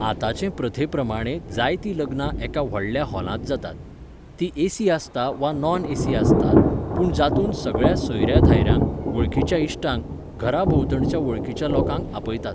आतांचे प्रथे प्रमाणे जायतीं लग्नां एका व्हडल्या हाॅलांत जातात. तीं एसी आसता वा नॉन एसी आसतात, पूण जातूंत सगळ्या सोयऱ्या दायऱ्यांक, वळखीच्या इश्टांक, घरा भोंवतणच्या वळखीच्या लोकांक आपयतात